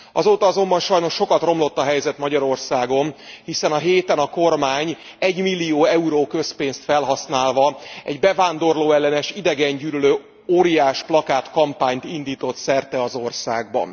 Azóta azonban sajnos sokat romlott a helyzet Magyarországon, hiszen a héten a kormány egymillió euró közpénzt felhasználva egy bevándorlóellenes, idegengyűlölő óriásplakát kampányt indított szerte az országban.